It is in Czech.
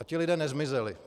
A ti lidé nezmizeli.